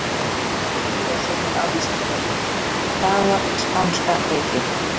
Frekara lesefni á Vísindavefnum: Hvað var spánska veikin?